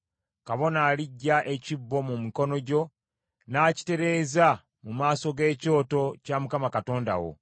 Kabona aliggya ekibbo mu mikono gyo n’akitereeza mu maaso g’ekyoto kya Mukama Katonda wo.